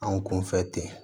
An kun fɛ ten